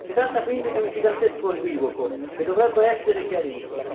Si tratta quindi di un gigantesco equivoco che dovrebbe essere chiarito.